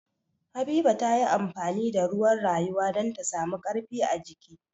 Habiba ta yi amfani da ruwan rayuwa don samu ƙarfi ajiki.